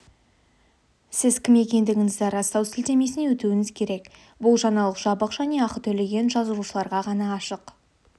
сіз кім екендігіңізді растау сілтемесіне өтуіңіз керек бұл жаңалық жабық және ақы төлеген жазылушыларға ғана ашық